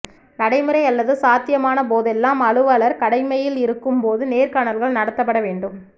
நடைமுறை அல்லது சாத்தியமான போதெல்லாம் அலுவலர் கடமையில் இருக்கும் போது நேர்காணல்கள் நடத்தப்பட வேண்டும்